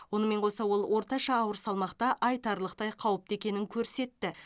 онымен қоса ол орташа ауыр салмақта айтарлықтай қауіпті екенін көрсетті